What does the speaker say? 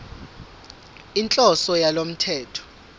inhloso yalo mthetho